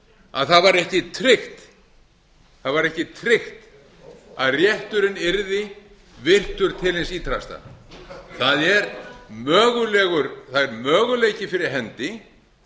að það var ekki tryggt það var ekki tryggt að rétturinn yrði virtur til hins ýtrasta það er möguleiki fyrir hendi